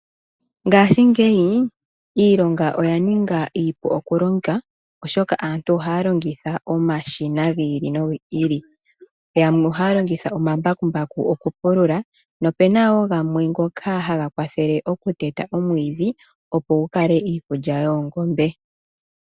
Ngashingeyi iilonga oya ninga iipu okulonga , oshoka aantu ohaya longitha omashina gi ili nogi ili . Yamwe ohaya longitha omambakumbaku okupulula nopu na wo gamwe ngoka haga kwathele okuteta omwiidhi opo gu kale iikulya yoongombe.